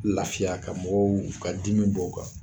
Lafiya ka mɔgɔw ka dimi bɔ u kan